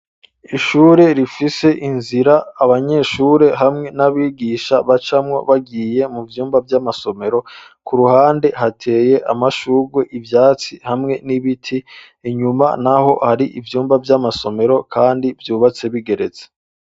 Ishure rifise inzira abanyeshure hamwe n'abigisha bacamwo bagiye mu vyumba vy'amasomero ku ruhande hateye amashugwe ivyatsi hamwe n'ibiti inyuma naho hari ivyumba vy'amasomero kandi vyubatse bigeretse.